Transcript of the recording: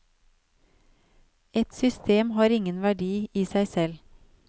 Et system har ingen verdi i seg selv.